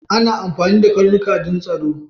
Ana amfani da karnuka don tsaro